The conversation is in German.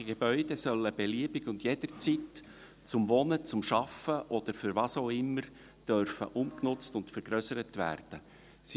Landwirtschaftliche Gebäude sollen beliebig und jederzeit zum Wohnen, Arbeiten oder für was auch immer umgenutzt und vergrössert werden dürfen.